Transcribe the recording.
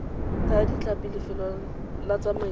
thaya ditlhapi lefelo la tsamaiso